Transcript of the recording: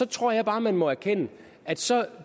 tror jeg bare at man må erkende at så